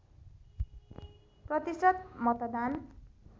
प्रतिशत मतदात